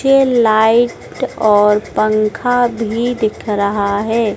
के लाइट और पंखा भी दिख रहा है।